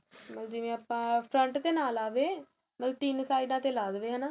ਮਤਲਬ ਜਿਵੇਂ ਆਪਾ front ਤੇ ਨਾਂ ਲਾਵੇ ਮਤਲਬ ਤਿੰਨ ਸਾਈਡਾਂ ਲਾ ਦੇਵੇ ਏ ਹੈਨਾ